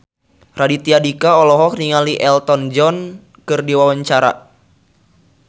Raditya Dika olohok ningali Elton John keur diwawancara